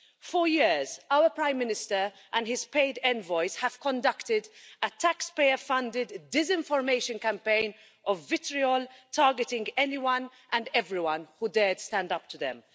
For years, our Prime Minister and his paid envoys have conducted a taxpayer funded disinformation campaign of vitriol, targeting anyone and everyone who dared to stand up to them.